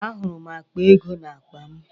Ahụrụ m akpa ego n'akpa m